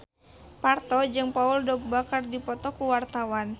Parto jeung Paul Dogba keur dipoto ku wartawan